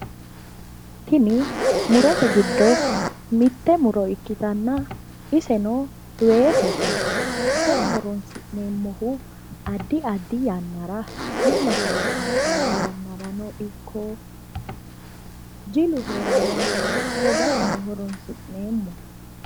Tini murote giddo mitte muro ikkitanna iseno weesete iseno horonsi'neemmohu addi addi yannara wi'la kalaqantawo yannara ikko jilu heerawo yannara hogaseno horonsi'neemmo.